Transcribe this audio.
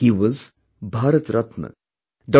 He was Bharat Ratna Dr